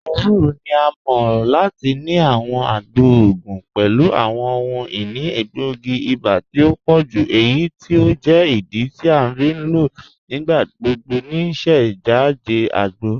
Ẹwùrọ̀ ni à mọ̀ lati ni àwọn àgbọ̀ ogun pẹ̀lú àwọn ọhun-inì ègbóogi iba tì o pọ̀jú eyí tí o jẹ́ ìdí tí a fi n lọ nígbàgbọ̀gbọ̀ ní síṣẹ̀jádẹ̀ àgbọ̀.